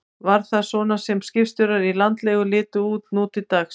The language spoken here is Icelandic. Var það svona sem skipstjórar í landlegu litu út nú til dags?